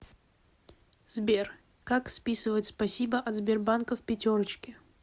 сбер как списывать спасибо от сбербанка в пятерочке